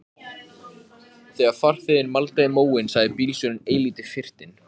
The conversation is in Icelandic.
Þessu var svo öllu lokið fyrir kvöldmat.